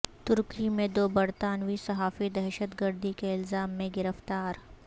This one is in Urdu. ترکی میں دو برطانوی صحافی دہشت گردی کے الزام میں گرفتار